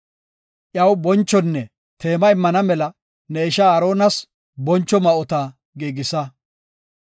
Iyaw bonchonne teema immana mela ne ishaa Aaronas boncho ma7ota giigisa.